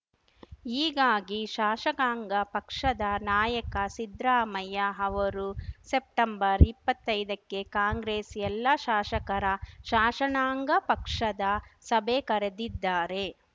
ಹೀಗಾಗಿ ಶಾಸಕಾಂಗ ಪಕ್ಷದ ನಾಯಕ ಸಿದ್ರಾಮಯ್ಯ ಅವರು ಸೆಪ್ಟೆಂಬರ್ಇಪ್ಪತ್ತೈದಕ್ಕೆ ಕಾಂಗ್ರೆಸ್‌ ಎಲ್ಲಾ ಶಾಶಕರ ಶಾಶಣಾಂಗ ಪಕ್ಷದ ಸಭೆ ಕರೆದಿದ್ದಾರೆ